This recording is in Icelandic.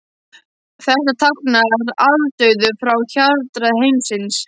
Þetta táknar aldauða frá harðræði heimsins.